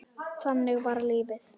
Þannig var lífið.